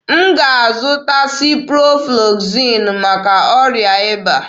M ga-azụta Siproflozasịn maka ọrịa ịba.